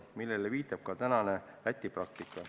Sellele viitab ka tänane Läti praktika.